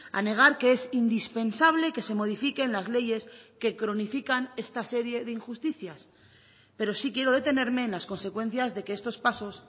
a negar que es indispensable que se modifiquen las leyes que cronifican esta serie de injusticias pero sí quiero detenerme en las consecuencias de que estos pasos